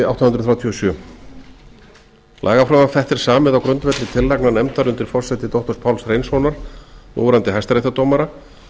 níutíu og þrjú lagafrumvarp þetta er samið á grundvelli tillagna nefndar undir forsæti doktor páls hreinssonar núverandi hæstaréttardómara